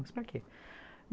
Mas para quê?